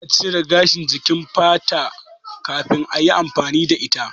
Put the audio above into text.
Ina cire gashin jikin fata kafin ayi amfani da ita